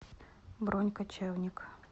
бронь кочевник